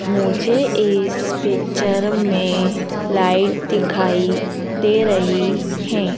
मुझे इस पिक्चर में लाइट दिखाई दे रही है।